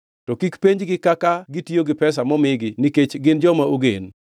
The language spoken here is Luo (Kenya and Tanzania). To kik penjgi kaka gitiyo gi pesa momigi nikech gin joma ogen.”